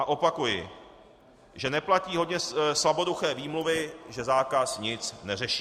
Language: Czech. A opakuji, že neplatí hodně slaboduché výmluvy, že zákaz nic neřeší.